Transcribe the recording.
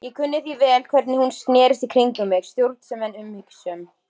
Ég kunni því vel hvernig hún snerist í kringum mig, stjórnsöm en umhyggjusöm.